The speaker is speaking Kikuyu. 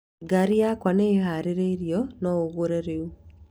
Ngaari yaku nĩ ĩhaarĩirio no ũgĩre rĩu